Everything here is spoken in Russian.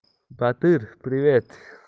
батыр привет